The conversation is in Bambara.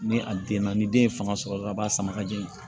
Ni a den na ni den ye fanga sɔrɔ dɔrɔn a b'a sama ka jigin